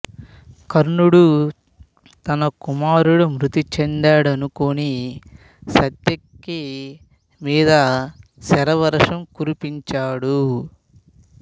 కర్ణుడు తన కుమారుడు మృతిచెందాడనుకుని సాత్యకి మీద శరవర్షం కురిపించాడు